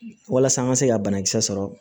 Walasa an ka se ka banakisɛ sɔrɔ